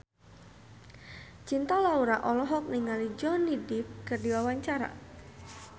Cinta Laura olohok ningali Johnny Depp keur diwawancara